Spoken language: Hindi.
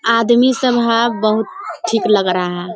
आदमी सब है बहुत ठीक लग रहा है।